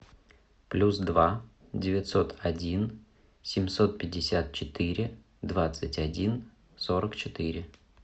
плюс два девятьсот один семьсот пятьдесят четыре двадцать один сорок четыре